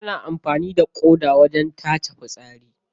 Ana amfani da ƙoda wajen tace fitsari.